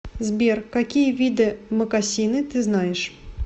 сбер какие виды мокасины ты знаешь